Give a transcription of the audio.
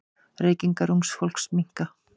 Reykingar ungs fólks minnka.